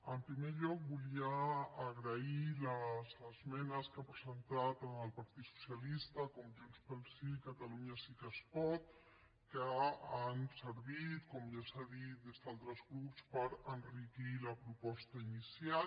en primer lloc volia agrair les esmenes que han presentat tant el partit socialista com junts pel sí i catalunya sí que es pot que han servit com ja s’ha dit des d’altres grups per enriquir la proposta inicial